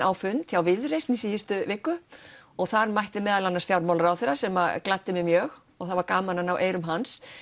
á fund hjá Viðreisn í síðustu viku og þar mætti meðal annars fjármálaráðherra sem gladdi mig mjög og það var gaman að ná eyrum hans